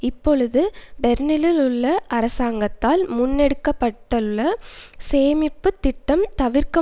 இப்பொழுது பெர்லினில் உள்ள அரசாங்கத்தால் முன்னெடுக்கப்பட்டுள்ள சேமிப்பு திட்டம் தவிர்க்க